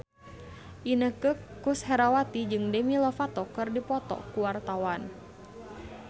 Inneke Koesherawati jeung Demi Lovato keur dipoto ku wartawan